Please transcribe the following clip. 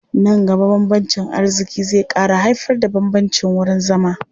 Nan gaba bambancin arziƙi zai ƙara haifarda bambancin wurin zama.